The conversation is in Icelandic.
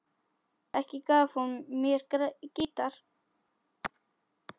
Ekki gaf hún mér gítar.